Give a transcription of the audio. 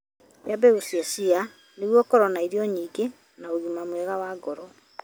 Iria mbegũ cia chia nĩguo ũkorũo na irio nyingĩ na ũgima mwega wa ngoro.